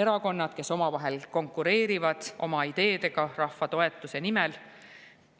erakonnad, kes omavahel konkureerivad oma ideedega rahva toetuse nimel.